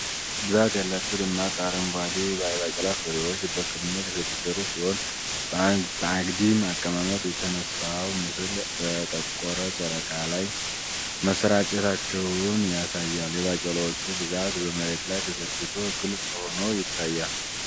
ብዛት ያላቸው ደማቅ አረንጓዴ የባቄላ ፍሬዎች በክምር የተደረደሩ ሲሆን፣ በአግድም አቀማመጥ የተነሳው ምስል በጠቆረ ጨርቅ ላይ መሰራጨታቸውን ያሳያል። የባቄላዎቹ ብዛት በመሬት ላይ ተዘርግቶ ግልጽ ሆኖ ይታያል።